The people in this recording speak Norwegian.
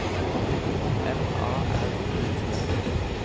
M A R I T